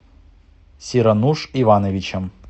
сирануш ивановичем